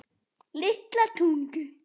Litla Tungu